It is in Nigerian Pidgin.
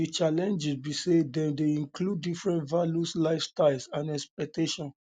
di challenges be say dem dey include diferent values lifestyles and expectations